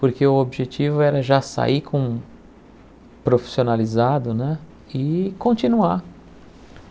Porque o objetivo era já sair com profissionalizado né e continuar.